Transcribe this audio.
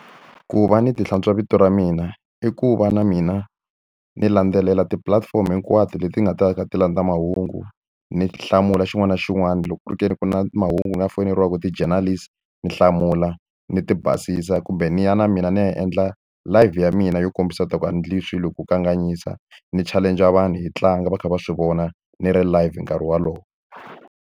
Ku va ni ti hlantswa vito ra mina i ku va na mina ni landzelela tipulatifomo hinkwato leti nga ta va ti kha ti landza mahungu, ni hlamula xin'wana na xin'wana. Loko ku ri ke ni ku na mahungu ku nga foyineriwaka ti-journalist, ni hlamula, ni ti basisa. Kumbe ni ya na mina ni ya endla live ya mina yo kombisa leswaku a ni endli swilo ku kanganyisa, ni challenge-a vanhu hi tlanga va kha va swi vona, ni ri live nkarhi wolowo.